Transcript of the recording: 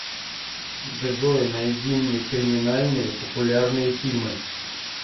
джой найди мне криминальные популярные фильмы